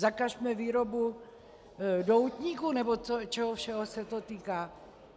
Zakažme výrobu doutníků nebo čeho všeho se to týká.